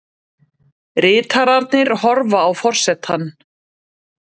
Ritararnir horfa á forsetann.